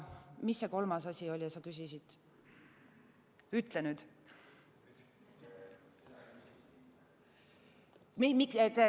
Mis see kolmas asi oli, mida sa küsisid?